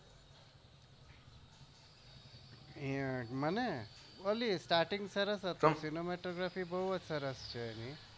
હમ starting સરસ હતી